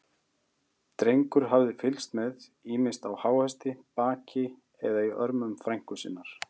Drengur hafði fylgst með, ýmist á háhesti, baki eða í örmum frænku sinnar.